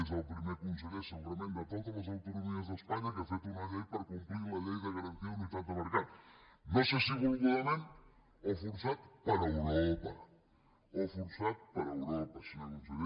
és el primer conseller segurament de totes les autonomies d’espanya que ha fet una llei per complir la llei de garantia de la unitat de mercat no sé si volgudament o forçat per europa o forçat per europa senyor conseller